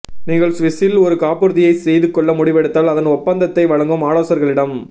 நீங்கள் சுவிஸில் ஒரு காப்புறுதியைச் செய்துகொள்ள முடிவெடுத்தால் அதன் ஒப்பந்தத்தை வழங்கும் ஆலோசகர்களிடம்